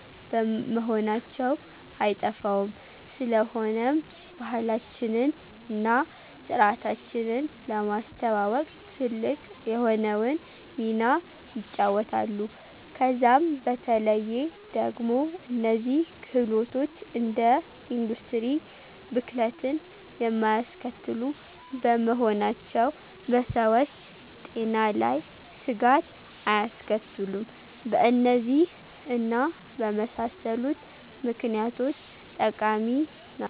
መሆናቸው አይጠፋውም፤ ስለሆነም ባህላችንን እና ስርዓታችንን ለማስተዋወቅ ትልቅ የሆነውን ሚና ይጫወታሉ። ከዛም በተለዬ ደግሞ እነዚህ ክህሎቶች እንደ ኢንዱስትሪ ብክለትን የማያስከትሉ በመሆናቸው በሰዎች ጤና ላይ ስጋት አያስከትሉም። በእነዚህ እና በመሳሰሉት ምክኒያቶች ጠቃሚ ናቸው።